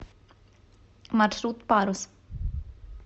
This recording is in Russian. маршрут парус